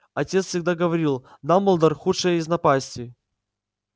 отец всегда говорил дамблдор худшая из напастей